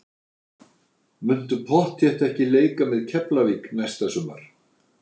Muntu pottþétt ekki leika með Keflavík næsta sumar?